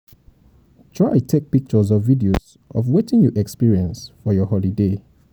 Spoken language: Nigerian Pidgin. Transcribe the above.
try take pictures or videos of wetin you experience for your holiday